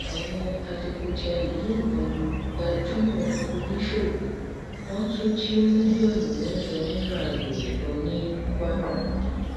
àwọn adigunjalè yìnbọn lu gbajúmọ oníṣòwò wọn tún jí mílíọnù mẹjọ náírà rẹ lọ ní kwara